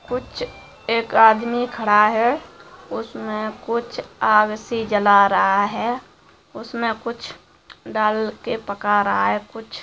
कुछ एक आदमी खड़ा है उसमे कुछ आग सी जला रहा है उसमे कुछ डालके पका रहा है कुछ--